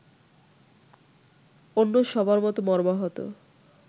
অন্য সবার মতো মর্মাহত